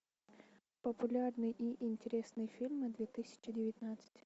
популярные и интересные фильмы две тысячи девятнадцать